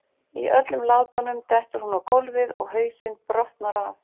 Í öllum látunum dettur hún á gólfið og hausinn brotnar af.